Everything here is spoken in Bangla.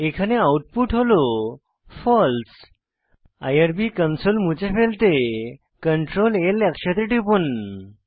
এখানে আউটপুট হল ফালসে আইআরবি কনসোল মুছে ফেলতে CtrlL একসাথে টিপুন